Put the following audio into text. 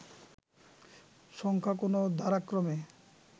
সংখ্যা কোনো ধারাক্রমে